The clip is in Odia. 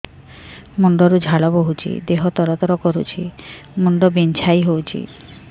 ମୁଣ୍ଡ ରୁ ଝାଳ ବହୁଛି ଦେହ ତର ତର କରୁଛି ମୁଣ୍ଡ ବିଞ୍ଛାଇ ହଉଛି